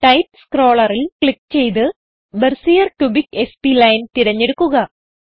type സ്ക്രോളറിൽ click ചെയ്ത് Bezier cubic spline തിരഞ്ഞെടുക്കുക